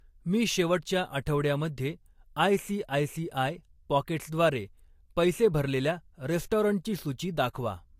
मी शेवटच्या आठवड्यामध्ये ICICI pockets द्वारे पैसे भरलेल्या रेस्टॉरंटची सूची दाखवा.